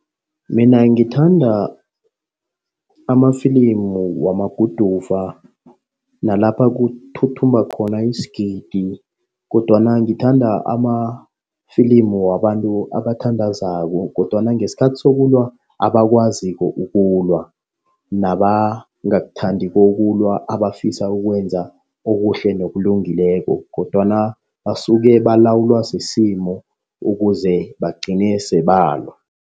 Mina ngithanda amafilimu wamaguduva nalapha kuthuthumba khona isigidi kodwana ngithanda amafilimu wabantu abathandazako kodwana ngesikhathi sokulwa abakwaziko ukulwa. Nabangakuthandiko yokulwa, abafisa ukwenza okuhle nokulungileko kodwana basuke balawulwa sisimo ukuze bagcine sele balwa.